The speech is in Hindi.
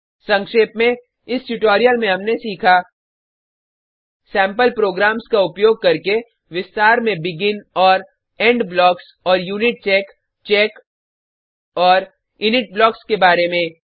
संक्षेप में इस ट्यूटोरियल में हमने सीखा सेम्पल प्रोग्राम्स का उपयोग करके विस्तार में बेगिन और इंड ब्लॉक्स और यूनिचेक चेक और इनिट ब्लॉक्स के बारे में